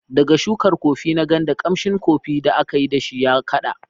Daga shukar Kofi na Nganda, ƙamshin kofi da aka yi da shi ya kaɗa.